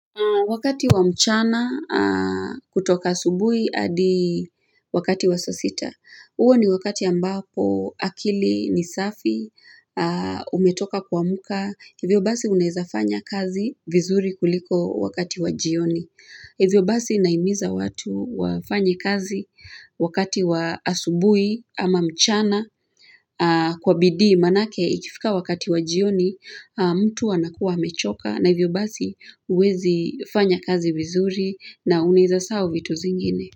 Wakati wa mchana, kutoka asubui, adi wakati wa sasita. Uo ni wakati ambapo akili ni safi, umetoka kua mka. Hivyo basi unaeza fanya kazi vizuri kuliko wakati wa jioni. Hivyo basi naimiza watu wafanye kazi wakati wa asubui ama mchana kwa bidii. Manake ikifika wakati wa jioni, mtu anakua amechoka. Na hivyo basi huezi fanya kazi vizuri na unaeza saau vitu zingine.